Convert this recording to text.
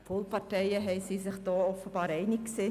Die Polparteien sind sich da offensichtlich einig gewesen.